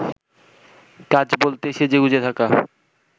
কাজ বলতে সেজেগুজে থাকা